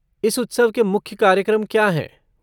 इस उत्सव के मुख्य कार्यक्रम क्या हैं?